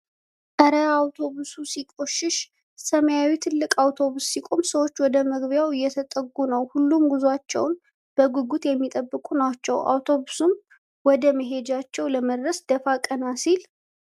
እረ! አውቶቡሱ ሲቆሽሽ! ሰማያዊው ትልቅ አውቶቡስ ሲቆም ሰዎች ወደ መግቢያው እየተጠጉ ነው። ሁሉም ጉዟቸውን በጉጉት የሚጠብቁ ናቸው። አውቶቡሱም ወደ መሄጃው ለመድረስ ደፋ ቀና ሲል !!!።